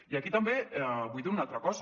i aquí també vull dir una altra cosa